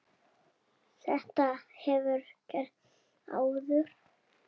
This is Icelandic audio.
Þetta hefur gerst áður.